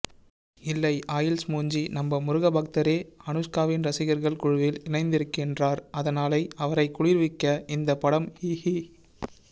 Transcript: இல்லை ஆயில்ஸ் மூஞ்சி நம்ம முருகபக்தரே அனுஷ்காவின் ரசிகர்கள் குழுவில் இணைந்திருக்கின்றார் அதனாலை அவரைக் குளிர்விக்க இந்தப் படம் ஹிஹ்ஹி